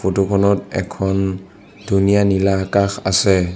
Photo খনত এখন ধুনীয়া নীলা আকাশ আছে।